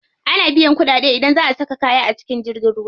Ana biyan kuɗaɗe idan za a saka kaya a jirgin ruwa.